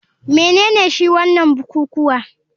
Menene shi wanan bukukuwa,